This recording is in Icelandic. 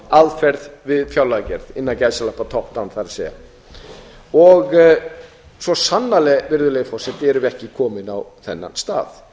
aðferð við fjárlagagerð innan gæsalappa top down það er að segja svo sannarlega virðulegi forseti erum við ekki komin á þennan stað